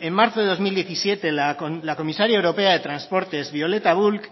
en marzo de dos mil diecisiete la comisaria europea de transportes violeta bulc